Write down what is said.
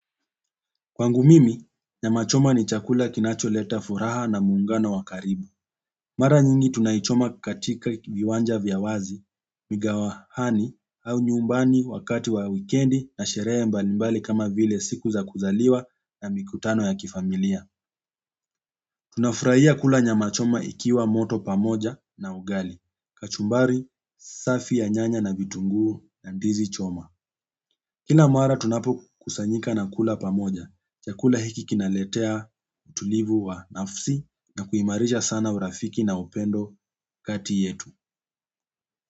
Kwangu mimi, nyamachoma ni chakula kinacholeta furaha na muungano wa karibu. Mara nyingi tunaichoma katika viwanja vya wazi, mikahawani au nyumbani wakati wa wikendi na sherehe mbalimbali kama vile siku za kuzaliwa na mikutano ya kifamilia. Tunafurahia kula nyamachoma ikiwa moto pamoja na ugali. Kachumbari safi ya nyanya na vitunguu na ndizi choma kila mara tunapokusanyika na kula pamoja. Chakula hiki kinaletea utulivu wa nafsi na kuimarisha sana urafiki na upendo kati yetu.